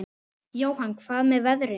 Jóhann: Hvað með veðrið?